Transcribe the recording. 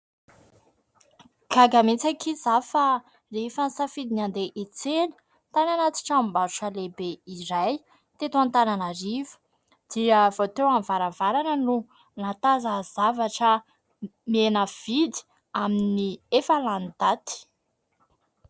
Gaga mihitsy akia izaho, fa rehefa nisafidy ny andeha hiantsena tany anaty tranom-barotra lehibe iray, teto Antananarivo, dia vao teo amin'ny varavarana no nahatazana zavatra mihena vidy amin'ny efa lany daty.